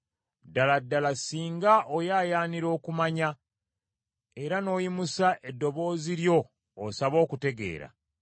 ddala ddala singa oyaayaanira okumanya era n’oyimusa eddoboozi lyo osabe okutegeera,